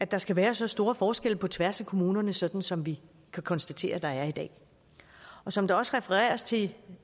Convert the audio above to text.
der skal være så store forskelle på tværs af kommunerne sådan som vi kan konstatere der er i dag og som der også refereres til